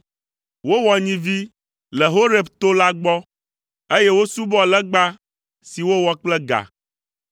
Wowɔ nyivi le Horeb to la gbɔ, eye wosubɔ legba si wowɔ kple ga.